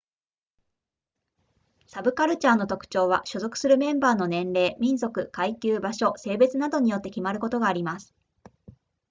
サブカルチャーの特徴は所属するメンバーの年齢民族階級場所性別などによって決まることがあります